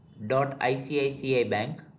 dotICICIbank